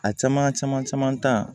A caman caman caman ta